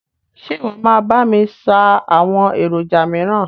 Ṣe ìwọ máa bá mi ṣáá àwọn èròjà míràn?